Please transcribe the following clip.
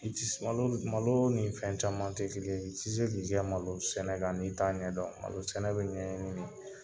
I ti se malo malo ni fɛn caman tɛ kelen ye, i ti se k'i kɛ malo sɛnɛ kan, n'i t'a ɲɛdɔn, malo sɛnɛ bi ɲɛɲini de.